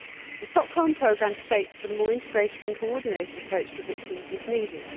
The Stockholm Programme states that a more integrated and coordinated approach to victims is needed.